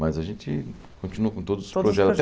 Mas a gente continua com todos os projetos. Todos os